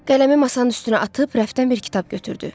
Qələmi masanın üstünə atıb rəfdən bir kitab götürdü.